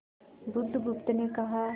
बुधगुप्त ने कहा